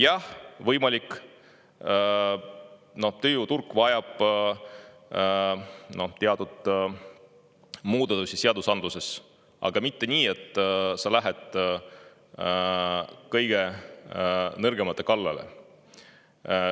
Jah, võimalik, et tööjõuturg vajab teatud muudatusi seadusandluses, aga mitte nii, et sa lähed kõige nõrgemate kallale.